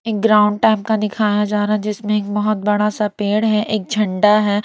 एक ground type का दिखाया जा रहा है जिसमें एक बहुत बड़ा सा पेड़ है एक झंडा है।